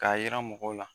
K'a yira mɔgɔw la